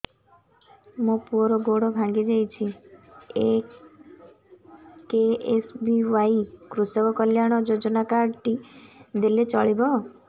ମୋ ପୁଅର ଗୋଡ଼ ଭାଙ୍ଗି ଯାଇଛି ଏ କେ.ଏସ୍.ବି.ୱାଇ କୃଷକ କଲ୍ୟାଣ ଯୋଜନା କାର୍ଡ ଟି ଦେଲେ ଚଳିବ